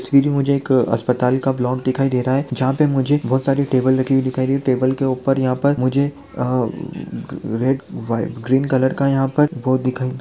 सिरी मुझे एक अस्पताल का ब्लॉक दिखाई दे रहा हैं जहा पे मुझे बहुत सारी टेबल रखी हुई दिखाई देटेबल के ऊपर यह पर मुझे आ म ग रेग वाई ग्रीन कलर का यहा पर वो दिखाई --